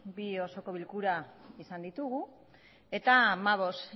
bi osoko bilkura izan ditugu eta hamabost